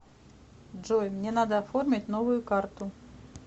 джой мне надо оформить новую карту